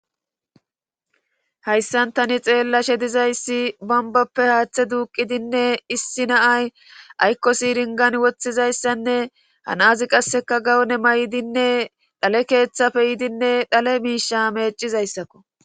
Hayssan tani xeella she dizayssi bambappe haaththe duuqidinne issi naay aykkosiringan woththizayssanne hanazi qasseka gawone may'dinne dhale keeththafe yidinne dhale miisha meecizayssakko.